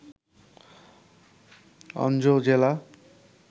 অনজো জেলা